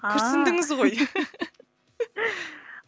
ааа күрсіндіңіз ғой